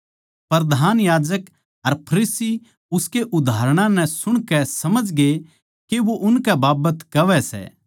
प्रधान याजक अर फरीसी उसके उदाहरणां नै सुणकै समझगे के वो उनकै बाबत कहवै सै